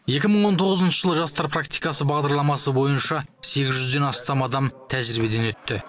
екі мың он тоғызыншы жылы жастар практикасы бағдарламасы бойынша сегіз жүзден астам адам тәжірибеден өтті